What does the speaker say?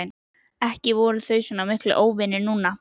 Ekki voru þau miklir óvinir núna.